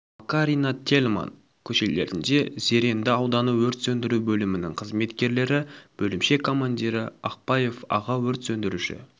макарина тельман көшелерінде зеренді ауданы өрт сөндіру бөлімінің қызметкерлері бөлімше командирі ақпаев аға өрт сөндіруші